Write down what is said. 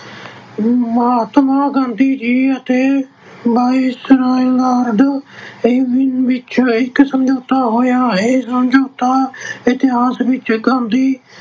ਮਹਾਤਮਾ ਗਾਂਧੀ ਜੀ ਅਤੇ viceroy Lord Irwin ਵਿੱਚ ਇੱਕ ਸਮਝੌਤਾ ਹੋਇਆ। ਇਹ ਸਮਝੌਤਾ ਇਤਿਹਾਸ ਵਿੱਚ ਗਾਂਧੀ